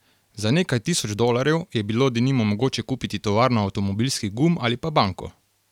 Za nekaj tisoč dolarjev je bilo denimo mogoče kupiti tovarno avtomobilskih gum ali pa banko.